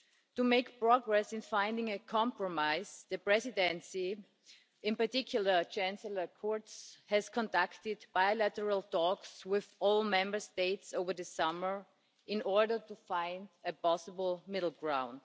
To make progress in finding a compromise, the Presidency, in particular Chancellor Kurz, has conducted bilateral talks with all Member States over the summer, in order to find a possible middle-ground.